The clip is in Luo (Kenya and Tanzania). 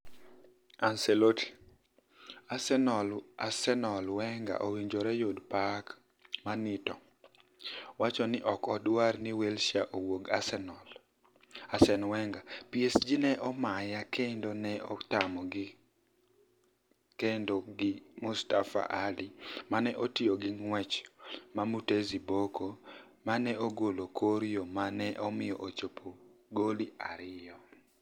Anicelotti: Arsenial Weniger owinijore oyud pak Minito, wacho nii ok odwar nii Wilshere owuog Arsenial Weniger: PSG ni e omaniya kenido ni e atamogi Kenido gi Mustapha Ali ni e otiyo gi nig'wech ma Mutezi Boko ni e ogolo e kor yo ma ni e omiyo ochopo goli ariyo.,